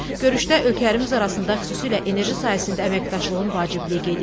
Görüşdə ölkələrimiz arasında xüsusilə enerji sahəsində əməkdaşlığın vacibliyi qeyd edildi.